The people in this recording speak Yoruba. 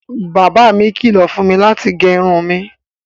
Baba mi kìlọ̀ fún mi láti gé irun mi